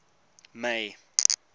may